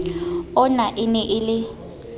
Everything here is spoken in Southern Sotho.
ona e ne e le